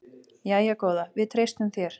Jæja góða, við treystum þér.